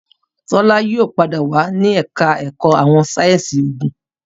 Tola yóò pàdé wá ní ẹka ẹkọ àwọn sáyẹnsì oògùn